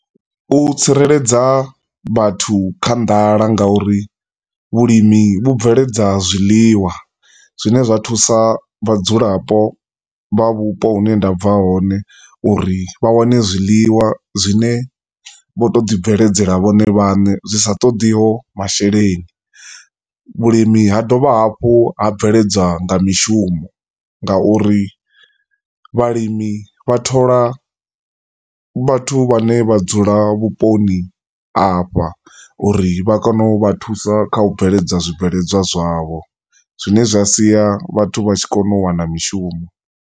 Vhu tsireledza vhathu kha nḓala ngauri vhulimi vhubveledza zwiḽiwa zwine zwa thusa vhadzulapo vha vhupo hu ne ndabva hone uri vha wane zwiḽiwa zwine vho to ḓi bveledzela vhone vhaṋe zwi sa ṱoḓiho masheleni. Vhulimi ha dovha hafhu ha bveledza nga mishumo ngauri vhalimi vha thola vhathu vhane vha dzula vhuponi afha uri vha kone u vha thusa kha u bveledza zwibveledzwa zwavho zwine zwa siya vhathu vha tshi kona u wana mishumo.